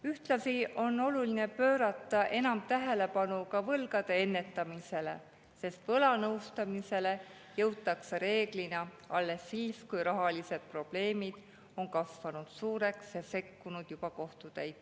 Ühtlasi on oluline pöörata enam tähelepanu ka võlgade ennetamisele, sest võlanõustamisele jõutakse reeglina alles siis, kui rahalised probleemid on suureks kasvanud ja sekkunud juba kohtutäitur.